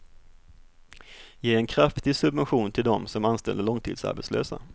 Ge en kraftig subvention till dem som anställer långtidsarbetslösa.